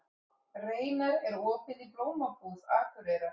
Reynar, er opið í Blómabúð Akureyrar?